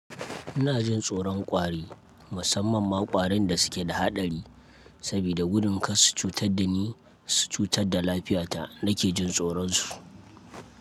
Ina jin tsoron ƙwari, musamman ma ƙwarin da suke da haɗari, saboda gudun kar su cutar da ni su cutar da lafiyata nake jin tsoron su.